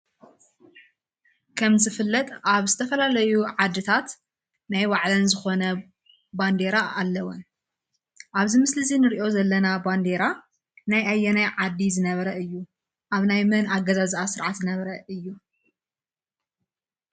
ከም ዝፍለጥ ኣብ ዝተፋላለዩ ዓድታት ናይ ባዕለን ዝኾነ ባንዴራ ኣለወን ።ኣብዚ ምስሊ እዚ ንሪኦ ዘለና ባንዴራ ናይ ኣየናይ ዓዲ ዝነበረ እዩ? ኣብ ናይ መን ኣገዛዝኣ ስርዓት ዝነበረ እዩ?